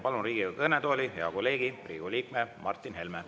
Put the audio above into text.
Palun Riigikogu kõnetooli hea kolleegi, Riigikogu liikme Martin Helme.